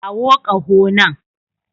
Kawo ƙaho nan.